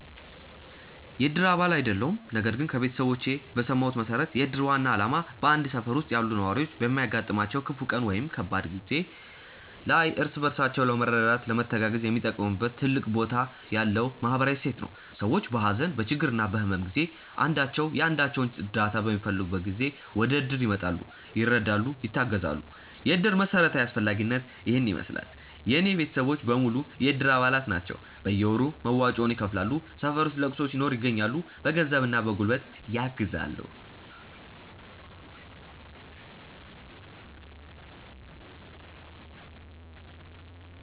የእድር አባል አይደለሁም ነገር ግን ከቤተሰቦቼ በሰማሁት መሠረት የእድር ዋና ዓላማ በአንድ ሠፈር ውስጥ ያሉ ነዋሪዎች በሚያጋጥማቸው ክፉ ቀን ወይም ከባድ ጊዜ ላይ እርስ በራሳቸው ለመረዳዳትና ለመተጋገዝ የሚጠቀሙበት ትልቅ ቦታ ያለው ማኅበራዊ እሴት ነው። ሰዎች በሀዘን፣ በችግርና በሕመም ጊዜ አንዳቸው የአንዳቸውን እርዳታ በሚፈልጉበት ጊዜ ወደእድር ይመጣሉ፤ ይረዳሉ፣ ይተጋገዛሉ። የእድር መሠረታዊ አስፈላጊነት ይሔን ይመሥላል። የእኔ ቤተሰቦች በሙሉ የእድር አባላት ናቸው ናቸው። በየወሩ መዋጮውን ይከፍላሉ፣ ሠፈር ውስጥ ለቅሶ ሲኖር ይገኛሉ። በገንዘብና በጉልበት ያግዛሉ።